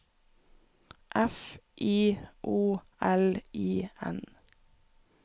F I O L I N